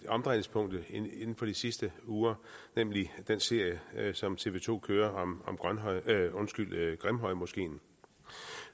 omdrejningspunkt inden for de sidste uger nemlig den serie som tv to kører om grimhøjmoskeen